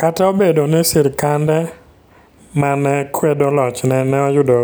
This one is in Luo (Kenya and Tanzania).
Kata obedo ni sirkande ma ne kwedo lochne ne oyudo